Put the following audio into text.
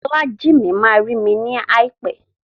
Folájìmí ma rí mi láìpẹ́.